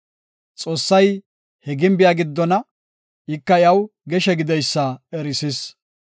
Xoossay he gimbiya giddona; ika iyaw geshe gideysa erisis.